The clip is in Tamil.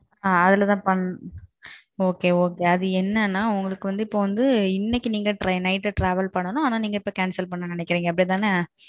அதுல தான் பண்ணனும் okay okay அது என்னனா உங்களுக்கு வந்து இப்போ வந்து இன்னைக்கு night ல நீங்க travel பண்ணனும் அனா இப்போ நீங்க cancel பண்ண நினைக்கிறீங்க அப்படிதானே.